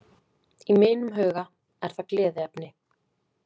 Í mínum huga er það gleðiefni.